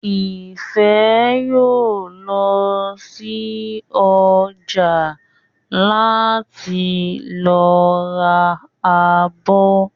Ìfẹ́ yóò lọ sí ọjà láti lọ ra abọ́